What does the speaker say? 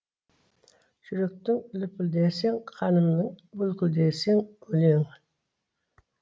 жүректің лүпілдесің қанымның бүлкілдесің өлең